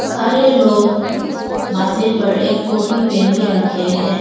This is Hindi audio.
सारे लोग माथे पर एक टोपी पहन के रखे हैं।